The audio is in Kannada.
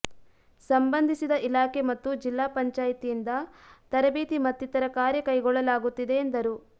ಸಂಬಂಧಿಸಿದ ಇಲಾಖೆ ಮತ್ತು ಜಿಲ್ಲಾ ಪಂಚಾಯತ್ದಿಂದ ತರಬೇತಿ ಮತ್ತಿತರ ಕಾರ್ಯ ಕೈಗೊಳ್ಳಲಾಗುತ್ತಿದೆ ಎಂದರು